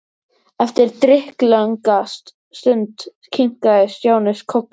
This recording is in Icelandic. Eftir drykklanga stund kinkaði Stjáni kolli.